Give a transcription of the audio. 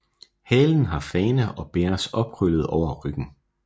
Halen har fane og bæres opkrøllet over ryggen